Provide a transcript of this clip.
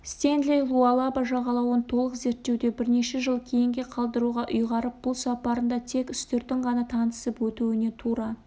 стенли луалаба жағалауын толық зерттеуді бірнеше жыл кейінге қалдыруға ұйғарып бұл сапарында тек үстіртін ғана танысып өтуіне тура